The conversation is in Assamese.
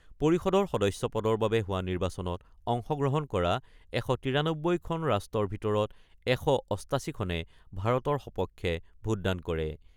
পৰিষদৰ সদস্য পদৰ বাবে হোৱা নিৰ্বাচনত অংশগ্ৰহণ কৰা ১৯৩খন ৰাষ্ট্ৰৰ ভিতৰত ১৮৮খনে ভাৰতৰ সপক্ষে ভোটদান কৰে।